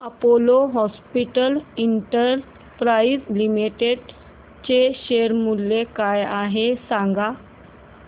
Apollo hospitals enterprise limited चे share मूल्य काय आहे सांगा